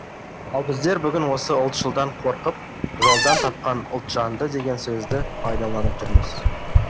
ал біздер бүгін осы ұлтшылдан қорқып жолдан тапқан ұлтжанды деген сөзді пайдаланып жүрміз